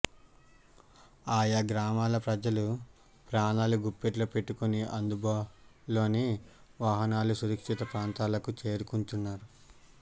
ఆయా గ్రామాల ప్రజలు ప్రాణాలు గుప్పెట్లో పెట్టుకుని అందుబాలోని వాహనాల్లో సురక్షిత ప్రాంతాలకు చేరుకుంటున్నారు